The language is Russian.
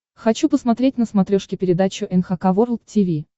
хочу посмотреть на смотрешке передачу эн эйч кей волд ти ви